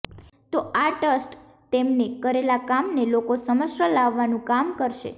તો આ ટ્સ્ટ તેમણે કરેલા કામને લોકો સમશ્ર લાવવાનું કામ કરશે